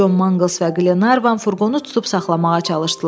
Con Mangels və Qlenarvan furqonu tutub saxlamağa çalışdılar.